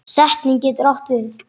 Setning getur átt við